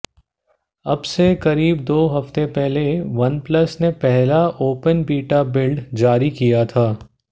अब से करीब दो हफ्ते पहले वनप्लस ने पहला ओपन बीटा बिल्ड जारी किया था